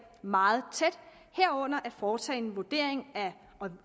meget tæt herunder foretage en